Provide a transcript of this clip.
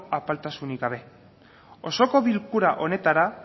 apaltasuni gabe osoko bilkura honetara